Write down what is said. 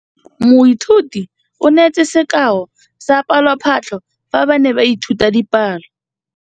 Moithuti o neetse sekaô sa palophatlo fa ba ne ba ithuta dipalo.